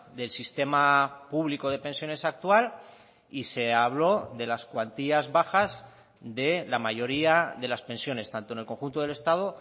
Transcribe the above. del sistema público de pensiones actual y se habló de las cuantías bajas de la mayoría de las pensiones tanto en el conjunto del estado